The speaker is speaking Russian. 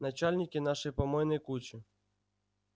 начальники нашей помойной кучи